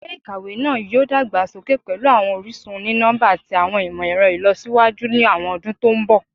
Ilé-ìkàwé náà yóò dàgbà sókè pẹ̀lú àwọn orísun oni-nọmba àti àwọn ìmọ̀-ẹ̀rọ ìlọsíwájú ni àwọn ọdún to ń bọ̀